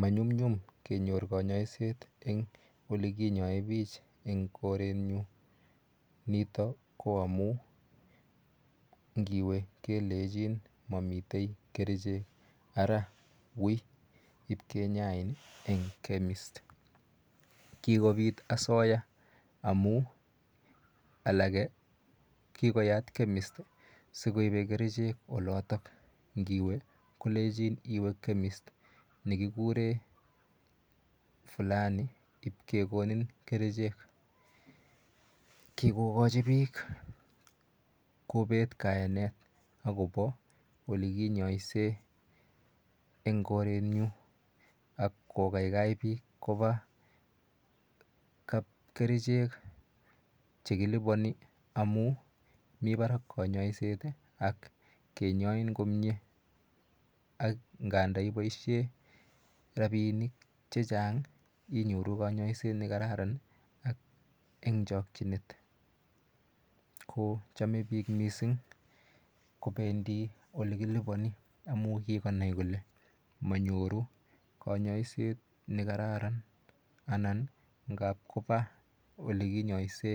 Manyumnyum kenyor kayaiset en ole kinyae oiich en korenyu nito ko amu ngiwe kelechin mamitei kerichek, ara wi ip kenyain en chemist. Kikopit asoya amu alake kikoyat chemist si koipe kerichek olatak. Ngiwe kelechin iwe chemist ne kikure fulani ipke konin kerichek. Kikokachi piik kopet kayanet akopa ole kinyaisei eng' korenyu ak kokaikai piik kopa kapkerichek che kilipani amu mi parak kanyaiset ak kenyain komye ak nganda ipaishe rapinik che chang' inyoru kanyaiset ne kararan ak eng' chakchinet. Ko chame piik ko pendi ole kilipani missing' amu kikonai kole manyoru kanyaiset anan ngap kopa ole kinyaise